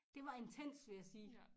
Det var intenst vil jeg sige